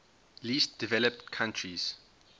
least developed countries